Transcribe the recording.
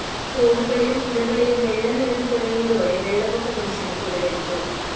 തോടുകളിലും പുഴകളിലും വെള്ളം നിറഞ്ഞു തുടങ്ങിയതോടെ വെള്ളപൊക്ക ഭീഷണി ഉടലെടുത്തു